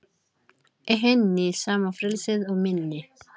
Í henni sama frelsið og minni.